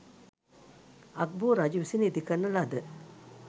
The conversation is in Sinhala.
අග්බෝ රජු විසින් ඉදිකරන ලද